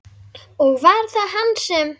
Og var það hann sem?